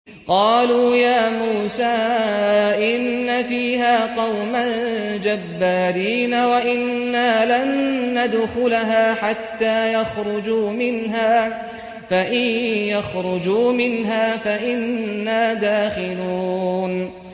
قَالُوا يَا مُوسَىٰ إِنَّ فِيهَا قَوْمًا جَبَّارِينَ وَإِنَّا لَن نَّدْخُلَهَا حَتَّىٰ يَخْرُجُوا مِنْهَا فَإِن يَخْرُجُوا مِنْهَا فَإِنَّا دَاخِلُونَ